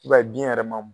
I b'a ye biɲɛ yɛrɛ ma